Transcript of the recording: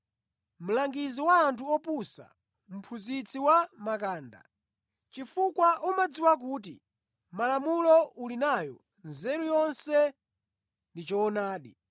mlangizi wa anthu opusa, mphunzitsi wa makanda, chifukwa umadziwa kuti mʼMalamulo uli nayo nzeru yonse ndi choonadi,